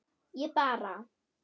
ég bara